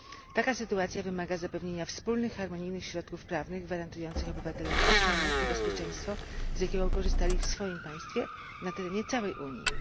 Taka sytuacja wymaga zapewnienia wspólnych, harmonijnych środków prawnych gwarantujących obywatelom ochronę i bezpieczeństwo, z jakiego korzystali w swoim państwie, na terenie całej Unii.